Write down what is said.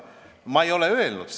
Ma ei ole seda öelnud.